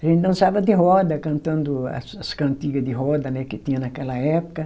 A gente dançava de roda, cantando as as cantiga de roda, né que tinha naquela época.